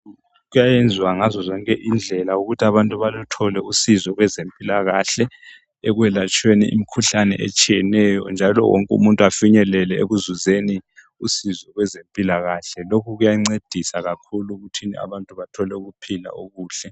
Kuyayenzwa ngazozonke indlela ukuthi abantu baluthole usizo kwezempilakahle ekwelatshweni imkhuhlane etshiyeneyo njalo wonke umuntu afinyelele ekuzuzeni usizo kwezempilakahle lokhu kuyancedisa kakhulu ekuthini abantu bathole ukuphila okuhle.